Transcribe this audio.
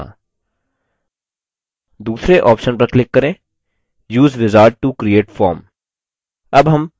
दूसरे option पर click करें: use wizard to create form